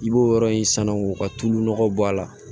I b'o yɔrɔ in sanu k'o ka tulu nɔgɔ bɔ a la